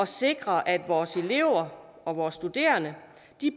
sikre at vores elever og vores studerende